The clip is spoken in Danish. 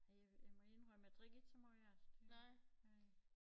Ej jeg jeg må indrømme jeg drikker ikke så meget af det gør jeg ikke